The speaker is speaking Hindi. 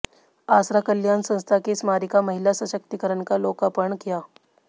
आसरा कल्याण संस्था की स्मारिका महिला सशक्तिकरण का लोकार्पण किया